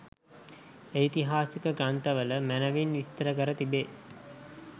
ඓතිහාසික ග්‍රන්ථවල මැනැවින් විස්තර කර තිබේ.